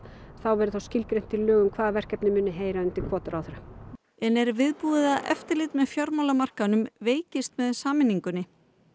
verði þá skilgreint í lögum hvaða verkefni heyra undir hvorn ráðherra en er viðbúið að eftirlitið veikist með sameiningunni